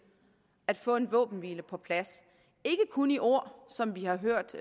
at få en våbenhvile på plads ikke kun i ord som vi har hørt